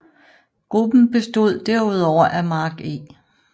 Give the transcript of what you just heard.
Gruppen bestod derudover af Mark E